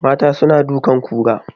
Mata suna dukan kura